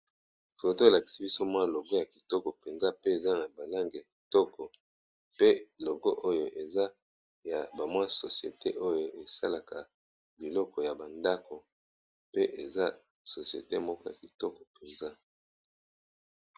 Phto elakisi biso mwa logo ya kitoko mpenza pe eza na balange ya kitoko pe logo oyo eza ya bamwa sosiete oyo esalaka biloko ya bandako pe eza sosiete moko ya kitoko mpenza.